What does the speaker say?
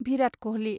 भिरात कहलि